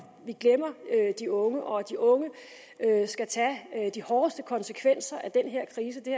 vi glemmer de unge og at de unge skal tage de hårdeste konsekvenser af den her krise det